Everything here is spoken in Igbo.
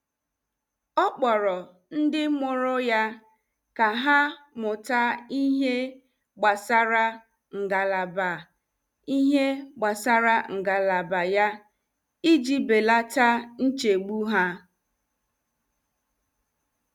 Ọ kpọrọ ndị mụrụ ya ka ha mụta ihe gbasara ngalaba ihe gbasara ngalaba ya iji belata nchegbu ha.